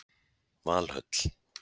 Valhöll